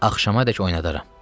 Axşamədək oynadaram.